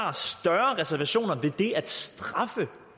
har større reservationer ved det at straffe